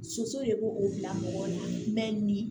Soso de b'o o bila mɔgɔ la mɛ ni